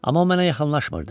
Amma o mənə yaxınlaşmırdı.